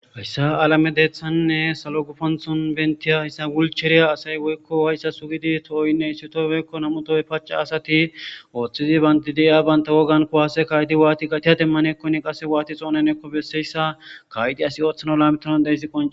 Hayssa alame deeththaninne sallo gufanththon bentiya hayssa wulchcheriya asay woykko wayssa sugidi tohoynne issi toy woykko nam'u toppe paca asati ooththidi bandidiya baynta wogan kuwaase kayidi waati gatiya demmanakkoni qase waati xoonenikko besseyssa kaa'idi asi ooththana lalmetanaw de'izayssii qoncekko